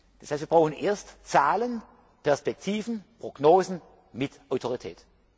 Das heißt, wir brauchen erst Zahlen, Perspektiven, Prognosen mit Autorität.